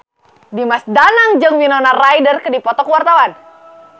Dimas Danang jeung Winona Ryder keur dipoto ku wartawan